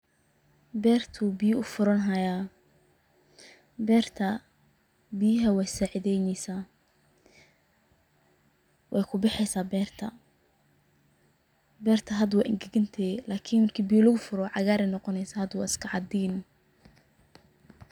Berta ayu biyo ufuranaya. Berta biyaha wey sacideynayan, wey kubaxeysa berta, berta hada wey angagantehe lakin marki ibyo lagufuro cagar ayey noqoneysa hada wa iskacadin.